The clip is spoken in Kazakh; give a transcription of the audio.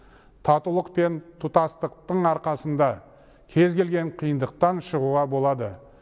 татулық пен тұтастықтың арқасында кез келген қиындықтан шығуға болады